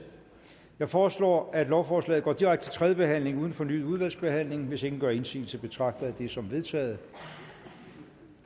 jeg foreslår at lovforslaget går direkte til tredje behandling uden fornyet udvalgsbehandling hvis ingen gør indsigelse betragter jeg det som vedtaget